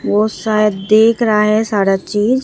वो शायद देख रहा है सारा चीज।